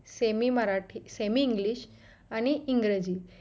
semi Marathi semi english आणि इंग्रजी